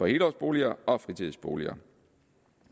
helårsboliger og fritidsboliger